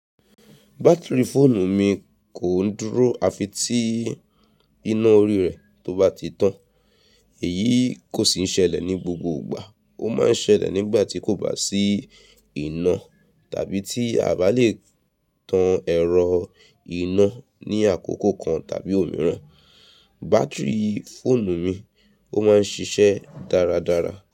Bátìrì fóònù mi kò ń dúró àfi tí iná orí rẹ̀ tó bá ti tán. Èyí kò sì ń ṣẹlẹ̀ ní gbogbo ìgbà, ó máa ń ṣẹlẹ̀ nígbà tí kò bá sí iná tàbí tí a bá lè tan ẹ̀rọ iná ní àkókò kan tàbí òmíràn. Bátìrì fóònù mi, ó máa ń ṣiṣẹ́ dáradára.